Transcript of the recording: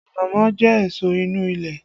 Ànámọ́ jẹ èso inú ilẹ̀